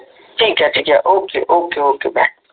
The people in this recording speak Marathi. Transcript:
ठीक आहे ठीक आहे ओके ओके ओके